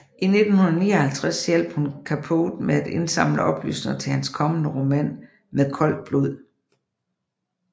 I 1959 hjalp hun Capote med at indsamle oplysninger til hans kommende roman Med koldt blod